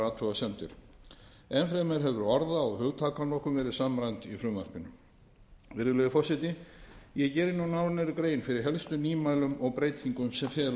enn fremur hefur orða og hugtakanotkun verið samræmd í frumvarpinu virðulegi forseti ég geri nú nánari grein fyrir helstu nýmælum og breytingum sem felast í frumvarpinu